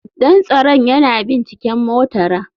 Dan tsaron yana binciken motara.